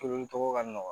Toli tɔgɔ ka nɔgɔ